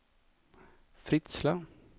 Fritsla